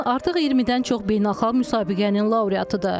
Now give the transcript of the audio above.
Ləman artıq 20-dən çox beynəlxalq müsabiqənin laureatıdır.